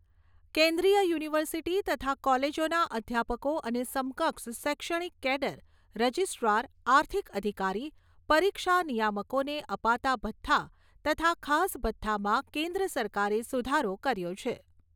કેન્દ્રિય યુનિવર્સિટી તથા કોલેજોના અધ્યાપકો અને સમકક્ષ શૈક્ષણિક કેડર, રજીસ્ટ્રાર, આર્થિક અધિકારી, પરીક્ષા નિયામકોને અપાતા ભથ્થા તથા ખાસ ભથ્થામાં કેન્દ્ર સરકારે સુધારો કર્યો છે.